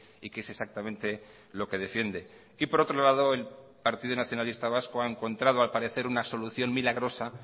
y qué es exactamente lo que defiende y por otro lado el partido nacionalista vasco ha encontrado al parecer una solución milagrosa